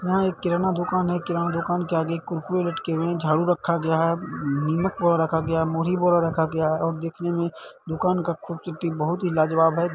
यहां एक किराना दुकान है किराना दुकान के आगे कुरकुरे लटके हुए हैं झाड़ू रखा गया है उम्म नमक बोरा रखा गया है मुड़ी बोरा रखा गया है और देखने में दुकान का खूबसूरती बहुत ही लाजवाब है।